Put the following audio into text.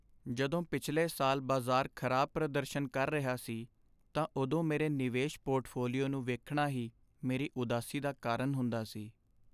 ਜਦੋਂ ਪਿਛਲੇ ਸਾਲ ਬਾਜ਼ਾਰ ਖ਼ਰਾਬ ਪ੍ਰਦਰਸ਼ਨ ਕਰ ਰਿਹਾ ਸੀ ਤਾਂ ਉਦੋਂ ਮੇਰੇ ਨਿਵੇਸ਼ ਪੋਰਟਫੋਲੀਓ ਨੂੰ ਵੇਖਣਾ ਹੀ ਮੇਰੀ ਉਦਾਸੀ ਦਾ ਕਾਰਨ ਹੁੰਦਾ ਸੀ ।